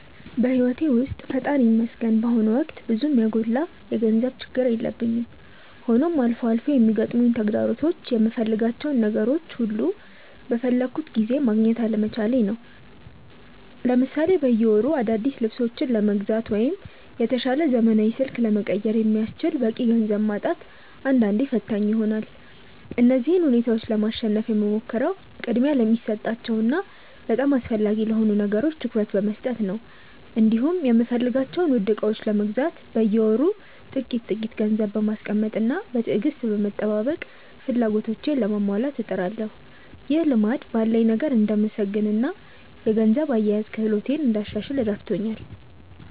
በሕይወቴ ውስጥ ፈጣሪ ይመስገን በአሁኑ ወቅት ብዙም የጎላ የገንዘብ ችግር የለብኝም፤ ሆኖም አልፎ አልፎ የሚገጥሙኝ ተግዳሮቶች የምፈልጋቸውን ነገሮች ሁሉ በፈለግኩት ጊዜ ማግኘት አለመቻሌ ነው። ለምሳሌ በየወሩ አዳዲስ ልብሶችን ለመግዛት ወይም የተሻለ ዘመናዊ ስልክ ለመቀየር የሚያስችል በቂ ገንዘብ ማጣት አንዳንዴ ፈታኝ ይሆናል። እነዚህን ሁኔታዎች ለማሸነፍ የምሞክረው ቅድሚያ ለሚሰጣቸው እና በጣም አስፈላጊ ለሆኑ ነገሮች ትኩረት በመስጠት ነው፤ እንዲሁም የምፈልጋቸውን ውድ ዕቃዎች ለመግዛት በየወሩ ጥቂት ጥቂት ገንዘብ በማስቀመጥና በትዕግስት በመጠባበቅ ፍላጎቶቼን ለማሟላት እጥራለሁ። ይህ ልማድ ባለኝ ነገር እንድመሰገንና የገንዘብ አያያዝ ክህሎቴን እንዳሻሽል ረድቶኛል።